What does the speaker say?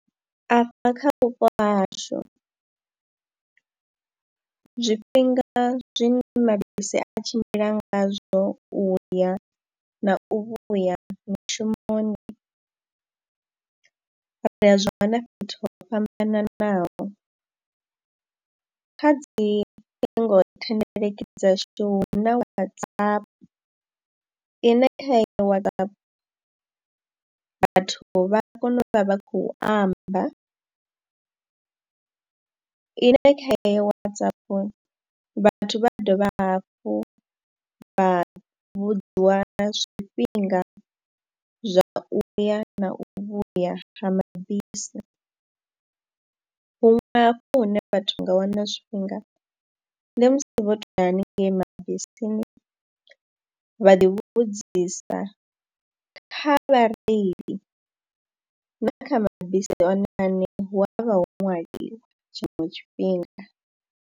Afha kha vhupo ha hashu zwifhinga zwine mabisi a tshimbila ngazwo u ya na u vhuya mushumoni, ri a zwa ṅwana fhethu ho fhambananaho. Kha dzi ṱhingothendeleki dzashu na Whatsapp ine kha heyo Whatsapp vhathu vha ya kona u vha vha khou amba. Ine kha heyo Whatsapp vhathu vha dovha hafhu vha vhudziwa nga zwifhinga zwa u ya na u vhuya ha mabisi. Huṅwe hafho hune vhathu nga wana zwifhinga ndi musi vho tou ya haningei mabisini vha ḓi vhudzisa kha vhareili na kha mabisi one aṋe hu a vha ho ṅwaliwa tshiṅwe tshifhinga.